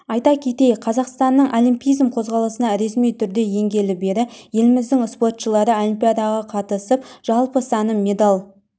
айта кетейік қазақстанның олимпизм қозғалысына ресми түрле енгелі бері еліміздің спортшылары олимпиадаға қатысып жалпы саны медаль